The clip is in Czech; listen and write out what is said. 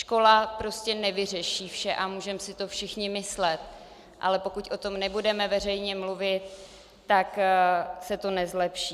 Škola prostě nevyřeší vše, a můžeme si to všichni myslet, ale pokud o tom nebudeme veřejně mluvit, tak se to nezlepší.